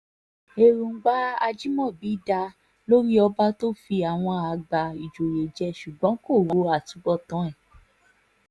èròǹgbà ajimobi dáa lórí ọba tó fi àwọn àgbà ìjòyè jẹ ṣùgbọ́n kò ro àtúbọ̀tán ẹ̀